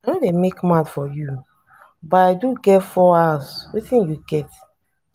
i no dey make mouth for you. i do get 4 houses wetin you get.